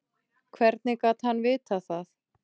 Hvernig gat hann vitað það.